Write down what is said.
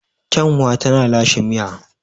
Kyanwa tana lashe miya.